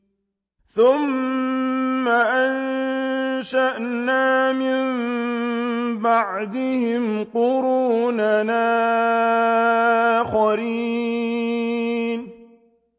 ثُمَّ أَنشَأْنَا مِن بَعْدِهِمْ قُرُونًا آخَرِينَ